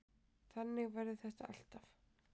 Þannig verður þetta alltaf.